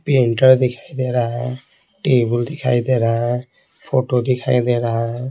Printer दिखाई दे रहा है टेबल दिखाई दे रहा है फोटो दिखाई दे रहा है।